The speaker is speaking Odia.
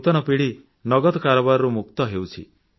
ନୂତନ ପିଢ଼ି ତ ନଗଦ କାରବାରରୁ ମୁକ୍ତ ହେଉଛନ୍ତି